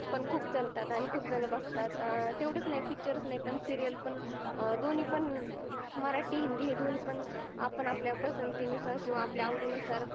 पण खूप चालतात आणि खूप जन बगतात तेवढाच नाही पिक्चरच नाही पण सिरीयल पण दोनी पण मराटी, हिंदी दोनी पण आपन आपल्या पसंदी अनुसारी किव्हा आपल्या आवडी अनुसार